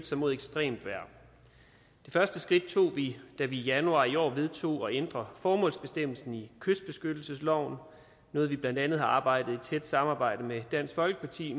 sig mod ekstremt vejr det første skridt tog vi da vi i januar i år vedtog at ændre formålsbestemmelsen i kystbeskyttelsesloven noget vi blandt andet har arbejde i et tæt samarbejde med dansk folkeparti